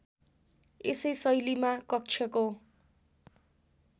यसै शैलीमा कक्षको